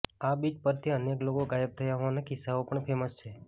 આ બીચ પરથી અનેક લોકો ગાયબ થયા હોવાના કિસ્સાઓ પણ ફેમસ છે